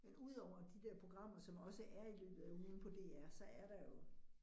Men udover de der programmer som også er i løbet af ugen på DR, så er der jo